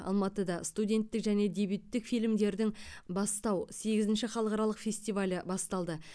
алматыда студенттік және дебюттік фильмдердің бастау сегізінші халықаралық фестивалі басталды